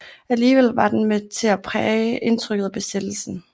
Alligevel var den med til at præge indtrykket af besættelsen